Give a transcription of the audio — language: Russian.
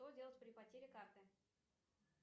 что делать при потере карты